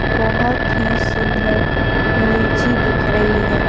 बहुत ही सुंदर लीची दिख रही है।